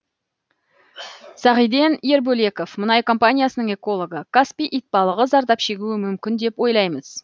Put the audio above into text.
сағиден ербөлеков мұнай компаниясының экологы каспий итбалығы зардап шегуі мүмкін деп ойлаймыз